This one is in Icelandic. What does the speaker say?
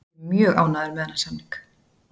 Ég er mjög ánægður með þennan samning.